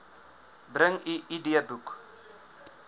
bring u idboek